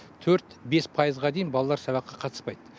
төрт бес пайызға дейін балалар сабаққа қатыспайды